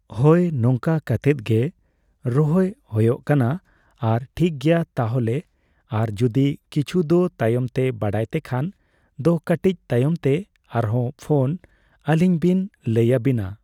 ᱦᱳᱭ ᱱᱚᱝᱠᱟ ᱠᱟᱛᱮᱫ ᱜᱮ ᱨᱚᱦᱚᱭ ᱦᱳᱭᱳᱜ ᱠᱟᱱᱟ ᱟᱨ ᱴᱷᱤᱠ ᱜᱮᱭᱟ ᱛᱟᱦᱚᱞᱮ ᱟᱨ ᱡᱩᱫᱤ ᱠᱤᱪᱷᱩ ᱫᱚ ᱛᱟᱭᱚᱢ ᱛᱮ ᱵᱟᱰᱟᱭ ᱛᱮᱠᱷᱟᱱ ᱫᱚ ᱠᱟᱹᱴᱤᱡ ᱛᱟᱭᱚᱢ ᱛᱮ ᱟᱨᱦᱚᱸ ᱯᱷᱳᱱ ᱟᱹᱞᱤᱧᱵᱤᱱ ᱞᱟᱹᱭ ᱟᱵᱤᱱᱟ